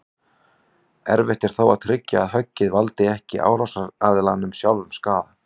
Erfitt er þó að tryggja að höggið valdi ekki árásaraðilanum sjálfum skaða.